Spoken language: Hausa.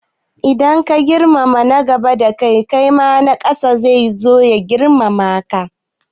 Idan ka girmama na gaba da kai, na ƙasa da kai zasu girmama ka.